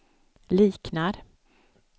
liknar